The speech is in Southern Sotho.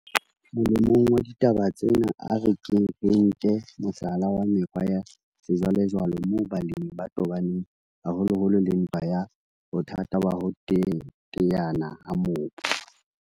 Molemong wa ditaba tsena, a re keng re nke mohlala wa mekgwa ya sejwalejwale moo balemi ba tobaneng haholoholo le ntwa ya bothata ba ho teteana ha mobu.